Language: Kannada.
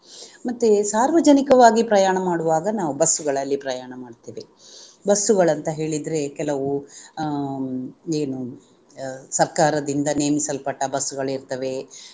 ಮತ್ತೆ ಸಾರ್ವಜನಿಕವಾಗಿ ಪ್ರಯಾಣ ಮಾಡುವಾಗ ನಾವು ಬಸ್ಸುಗಳಲ್ಲಿ ಪ್ರಯಾಣ ಮಾಡ್ತೇವೆ ಬಸ್ಸುಗಳು ಅಂತ ಹೇಳಿದ್ರೆ ಕೆಲವು ಅಹ್ ಏನು ಸರ್ಕಾರದಿಂದ ನೇಮಿಸಲ್ಪಟ್ಟ ಬಸ್ಸುಗಳಿರ್ತವೆ